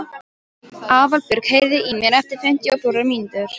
Aðalbjörg, heyrðu í mér eftir fimmtíu og fjórar mínútur.